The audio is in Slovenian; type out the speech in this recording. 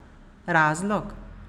Razlog?